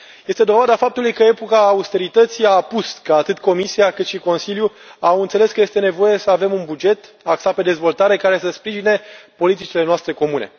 Este dovada faptului că epoca austerității a apus, că atât Comisia cât și Consiliul au înțeles că este nevoie să avem un buget axat pe dezvoltare, care să sprijine politicile noastre comune.